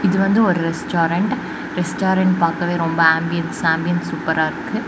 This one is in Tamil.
இது வந்து ஒரு ரெஸ்டாரன்ட் ரெஸ்டாரன்ட் பாக்கவே ரொம்ப ஆம்பியன்ஸ் ஆம்பியன்ஸ் சூப்பரா இருக்கு.